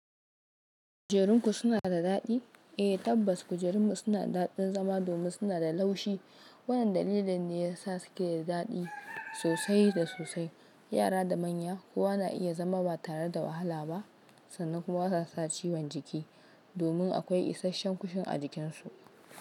Kujerunku suna da daɗi? Eh tabbas kujerunmu suna da daɗin zama domin suna da laushi. Wannan dalilin ne yasa suke da daɗi sosai da sosai. Yara da manya kuwa na iya zama ba tare da wahala ba sannan kuma ba za su samu ciwon jiki domin akwai isasshen kushin a jikinsu.